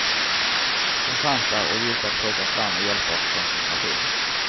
Den fanns där och gick att plocka fram med hjälp av koncentration.